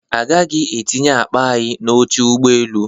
A gaghị etinye akpa anyị n'oche ụgbọ elu